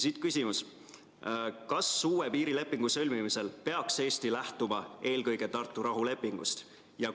Siit küsimus: kas uue piirilepingu sõlmimisel peaks Eesti lähtuma eelkõige Tartu rahulepingust?